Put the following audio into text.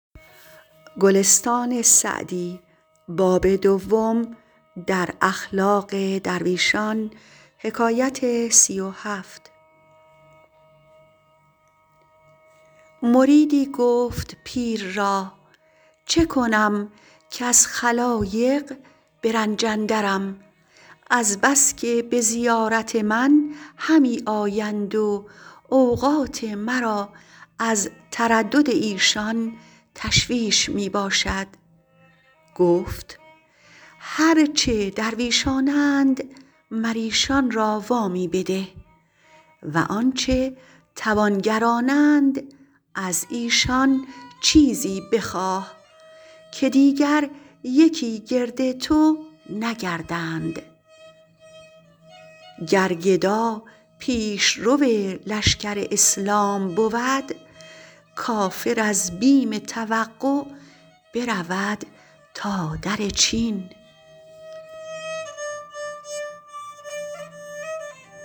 مریدی گفت پیر را چه کنم کز خلایق به رنج اندرم از بس که به زیارت من همی آیند و اوقات مرا از تردد ایشان تشویش می باشد گفت هر چه درویشانند مر ایشان را وامی بده و آنچه توانگرانند از ایشان چیزی بخواه که دیگر یکی گرد تو نگردند گر گدا پیشرو لشکر اسلام بود کافر از بیم توقع برود تا در چین